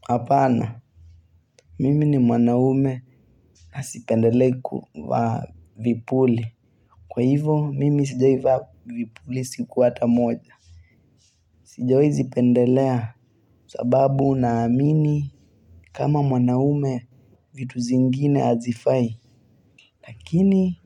Hapana, mimi ni mwanaume na sipendelei kuvaa vipuli. Kwa hivo, mimi sijaivaa vipuli siku ata moja. Sijawai zipendelea, sababu naamini kama mwanaume vitu zingine hazifai. Lakini,